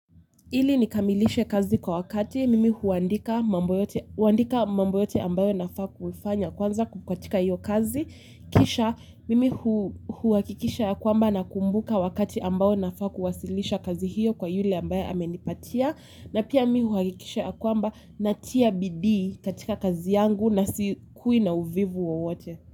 Ili nikamilishe kazi kwa wakati, mimi huandika mambo yote ambayo nafaa kufanya kwanza katika hiyo kazi, kisha mimi huakikisha ya kwamba nakumbuka wakati ambao nafaa kuwasilisha kazi hiyo kwa yule ambaye amenipatia, na pia mimi huakikisha ya kwamba natia bidii katika kazi yangu na sikui na uvivu wowote.